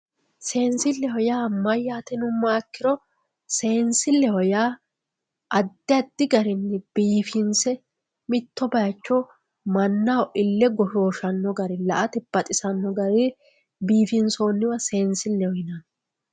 Seensilleho yaa mayyaate yinummoha ikkiro seensilleho yaa addi addi garinni biifinse mitto baycho mannaho ille goshooshanno garinni la"ate baxisanno garii biifinsoonniwa seensilleho yinanni